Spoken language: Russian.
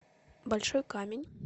большой камень